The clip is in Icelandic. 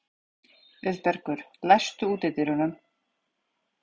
Auðbergur, læstu útidyrunum.